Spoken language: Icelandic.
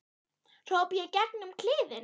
hrópa ég í gegn um kliðinn.